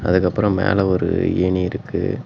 அதுக்கப்பறம் மேல ஒரு ஏணி இருக்கு.